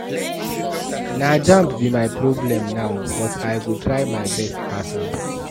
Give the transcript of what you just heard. Na jamb be my problem now but I go try my best pass am.